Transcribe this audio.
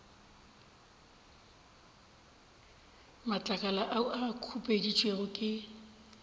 matlakala a a khupeditšwego ke